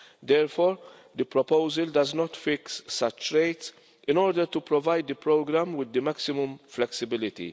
Therefore, the proposal does not fix such rates, in order to provide the programme with the maximum flexibility.